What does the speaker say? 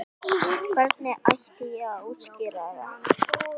Hvernig ætti ég að útskýra það?